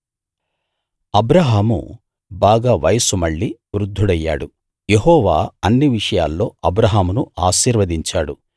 అబ్రాహాము బాగా వయస్సు మళ్ళి వృద్దుడయ్యాడు యెహోవా అన్ని విషయాల్లో అబ్రాహామును ఆశీర్వదించాడు